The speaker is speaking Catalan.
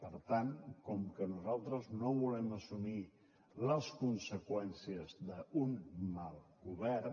per tant com que nosaltres no volem assumir les conseqüències d’un mal govern